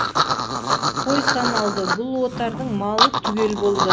қой саналды бұл отардың малы түгел болды